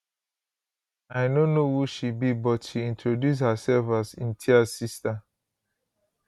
i no know who she be but she introduce hersef as imtiaz sister